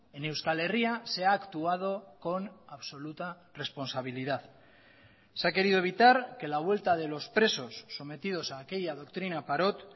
en euskal herria se ha actuado con absoluta responsabilidad se ha querido evitar que la vuelta de los presos sometidos a aquella doctrina parot